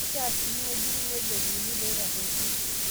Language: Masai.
Keishaa sii nejurri negeluni ilootarruoitie.